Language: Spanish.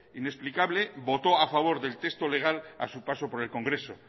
inexplicable votó a favor del texto legal a su paso por el congreso